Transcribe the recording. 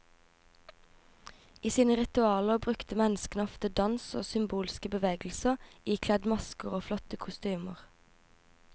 I sine ritualer brukte menneskene ofte dans og symbolske bevegelser ikledd masker og flotte kostymer.